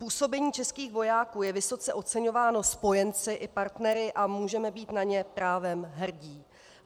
Působení českých vojáků je vysoce oceňováno spojenci i partnery a můžeme být na ně právem hrdi.